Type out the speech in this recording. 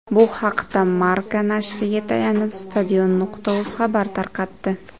Bu haqda Marca nashriga tayanib Stadion.uz xabar tarqatdi.